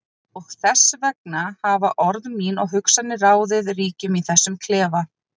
Og þess vegna hafa orð mín og hugsanir ráðið ríkjum í þessum klefa.